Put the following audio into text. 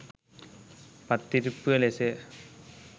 පත්තිරිප්පුව ලෙසය.